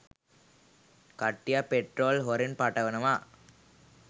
කට්ටියක් පෙට්‍රෝල් හොරෙන් පටවනවා